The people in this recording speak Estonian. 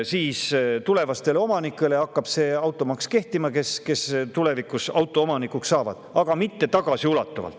Vaid tulevastele omanikele hakkaks see maks kehtima, neile, kes tulevikus autoomanikuks saavad.